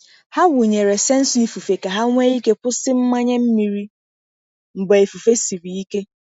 Ha wụnyere sensọ ifufe ka ha nwee ike kwụsị mmanye mmiri mgbe ifufe siri ike.